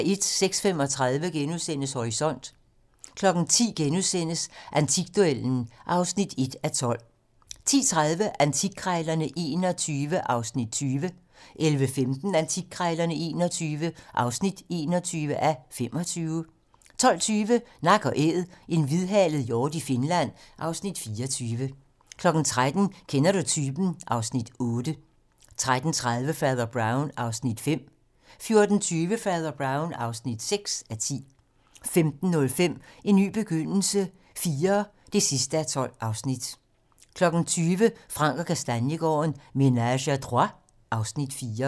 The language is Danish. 06:35: Horisont * 10:00: Antikduellen (1:12)* 10:30: Antikkrejlerne XXI (20:25) 11:15: Antikkrejlerne XXI (21:25) 12:20: Nak & æd - en hvidhalet hjort i Finland (Afs. 24) 13:00: Kender du typen? (Afs. 8) 13:30: Fader Brown (5:10) 14:20: Fader Brown (6:10) 15:05: En ny begyndelse IV (12:12) 20:00: Frank & Kastaniegaarden - Ménage à trois (Afs. 4)